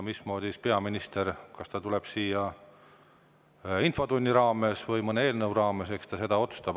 Mismoodi peaminister, kas ta tuleb siia infotunni raames või mõne eelnõu raames – eks ta seda otsustab.